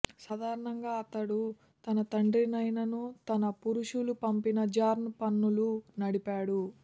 సాధారణంగా అతను తన తండ్రినైనను తన పురుషులు పంపిన జార్న్ పన్నులు నడిపాడు